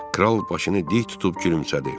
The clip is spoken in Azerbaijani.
Kral başını dik tutub gülümsədi.